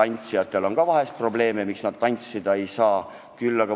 Eks tantsijatel on ka vahel probleeme, miks nad tantsida ei saa.